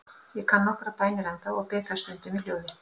Ég kann nokkrar bænir ennþá og bið þær stundum í hljóði.